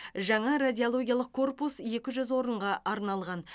жаңа радиологиялық корпус екі жүз орынға арналған